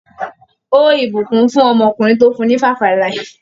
Ó ìbùkún fún ọmọkùnrin tó fún ní 5-alive.